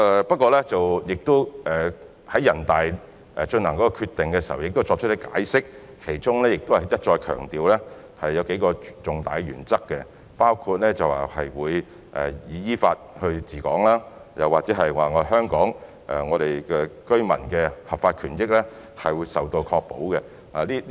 不過，全國人大在作出決定時亦有解釋，並一再強調數項重大的原則，包括依法治港及香港居民的合法權益受到保障。